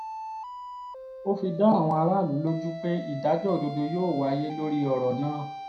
ó fi dá àwọn aráàlú lójú pé ìdájọ́ òdodo yóò wáyé lórí ọ̀rọ̀ náà